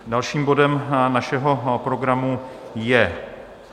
Dalším bodem našeho programu je